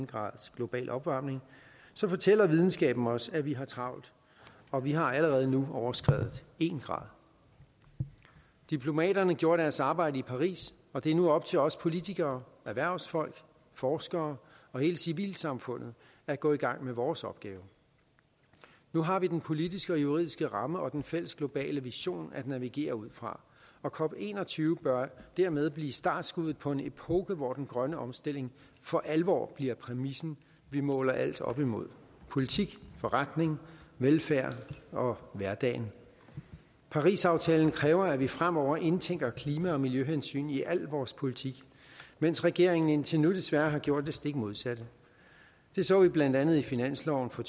graders global opvarmning fortæller videnskaben os at vi har travlt og vi har allerede nu overskredet en grad diplomaterne gjorde deres arbejde i paris og det er nu op til os politikere erhvervsfolk forskere og hele civilsamfundet at gå i gang med vores opgave nu har vi den politiske og juridiske ramme og den fælles globale vision at navigere ud fra og cop21 bør dermed blive startskuddet på en epoke hvor den grønne omstilling for alvor bliver præmissen vi måler alt op imod politik forretning velfærd og hverdagen parisaftalen kræver at vi fremover indtænker klima og miljøhensyn i al vores politik mens regeringen indtil nu desværre har gjort det stik modsatte det så vi blandt andet i finansloven for